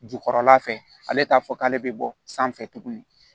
Jukɔrɔla fɛ ale t'a fɔ k'ale bɛ bɔ sanfɛ tuguni